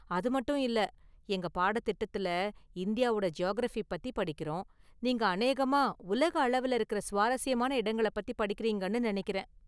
அதுமட்டு இல்ல, எங்க பாடத்​ திட்டத்துல இந்தியாவோட​ ஜியாகிரஃபி பத்தி படிக்கிறோம், நீங்க அநேகமாக உலக அளவுல இருக்கிற​ சுவாரஸ்யமான இடங்களைப் பத்தி படிக்கிறீங்கன்னு நெனைக்கிறேன்.